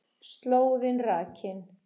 Slóðin rakin